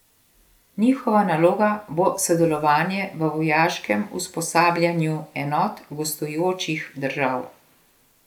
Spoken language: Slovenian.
Njihova naloga bo sodelovanje v vojaškem usposabljanju enot gostujočih držav.